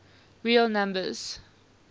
real numbers